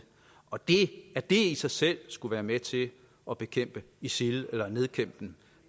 og at det i sig selv skulle være med til at bekæmpe isil eller nedkæmpe dem